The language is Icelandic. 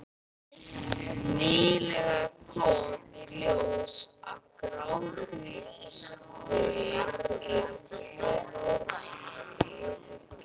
Nýlega kom í ljós að grágrýtislögin eru tvö norðan